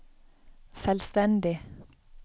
selvstendig